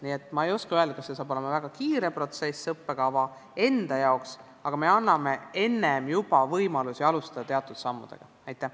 Nii et ma ei oska öelda, kas see hakkab olema väga kiire protsess õppekava enda jaoks, aga me anname võimaluse juba enne teatud samme teha.